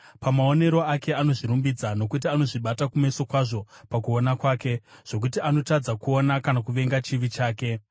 Pamaonero ake anozvirumbidza, nokuti anozvibata kumeso kwazvo pakuona kwake, zvokuti anotadza kuona kana kuvenga chivi chake.